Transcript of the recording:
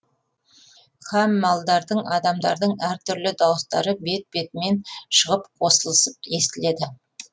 һәм малдардың адамдардың әр түрлі дауыстары бет бетімен шығып қосылысып естіледі